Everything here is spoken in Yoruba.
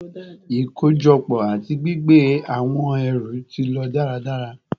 Ikojọpọ ati gbigbe awọn ẹru ti lo daradara